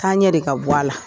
K'an ɲɛ de ka bɔ a la.